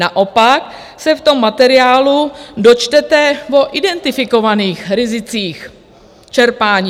Naopak se v tom materiálu dočtete o identifikovaných rizicích čerpání.